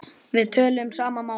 Við töluðum sama málið.